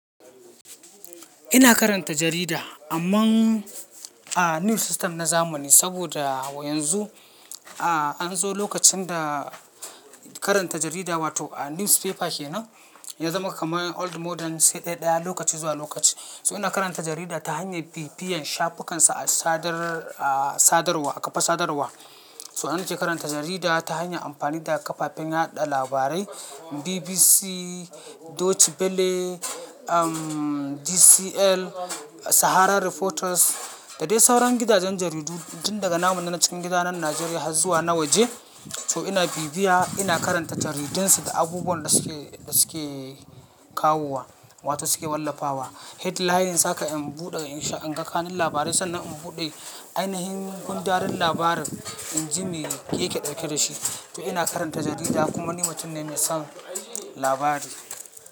Ina karanta jarida amma, ah, news system na zamani saboda yanzu, ah, an zo lokacin da karanta jarida wato ah, newspaper kenan ya zama kamar old model sai ɗaya lokaci zuwa lokaci. To ina karanta jarida ta hanyar bibiyan shafukansa a sadar, a sadarwa a ƙafa sadarwa. To ina ke karanta jarida ta hanyar amfani da ƙafafen yaɗa labarai BBC, Deutsche Welle, um, DCL, Sahara Reporters da dai sauran gidajen jaridu duk daga namun dake cikin gida nan Najeriya har zuwa na waje. To ina bibiya, ina karanta jaridunsu da abubuwan da suke, suke kawowa wato suke wallafawa. Headlines haka in buɗe in sha, in ga ƙanan labarai sannan in buɗe ainihin gundaren labarin in ji me yake ɗauke da shi. To ina karanta jarida kuma ni mutum ne mai son labari.